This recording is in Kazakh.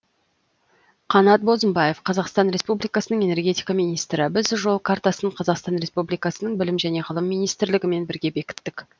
қанат бозымбаев қазақстан республикасының энергетика министрі біз жол картасын қазақстан республикасының білім және ғылым министрлігімен бірге бекіттік